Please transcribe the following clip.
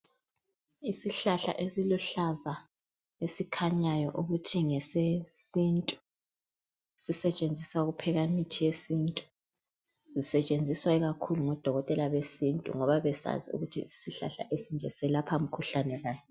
Isihlahla esiluhlaza esikhanyayo ukuthi ngesesintu, sisetshenziswa ngudokotela osibonayo ukuthi ngesesintu ,bayabe bekwazi ukuthi yisihlahla esinje selapha mikhuhlane bani.